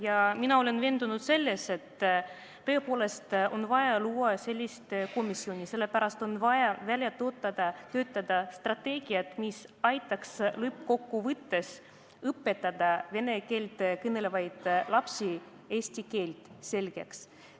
Ja mina olen veendunud selles, et tõepoolest on vaja luua selline komisjon, sest on vaja välja töötada strateegiad, mis aitaks lõppkokkuvõttes õpetada vene keelt kõnelevatele lastele eesti keele selgeks.